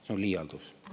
See on liialdus.